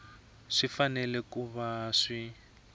swi fanele ku va swi